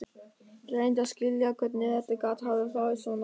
Ég reyndi að skilja hvernig þetta gat hafa farið svona.